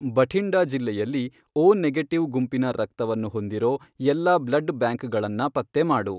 ಬಠಿಂಡಾ ಜಿಲ್ಲೆಯಲ್ಲಿ, O negative ಗುಂಪಿನ ರಕ್ತವನ್ನ ಹೊಂದಿರೋ ಎಲ್ಲಾ ಬ್ಲಡ್ ಬ್ಯಾಂಕ್ಗಳನ್ನ ಪತ್ತೆ ಮಾಡು.